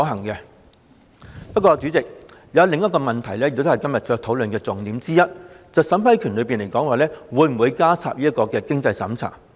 不過，代理主席，還有另一個問題也是今天討論的重點之一，便是在審批過程中會否加入經濟審查。